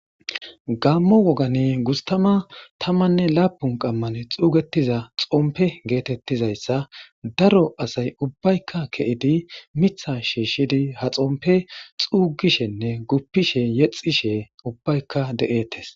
gammo wogati gustama tamanne laapun qammane xuugetiza xompe geetettizayssa daro asay ubbaykka ke7idi mitha shiishshidi ha xompe xuugishenne guppishe yexishe ubbaykka de7ettes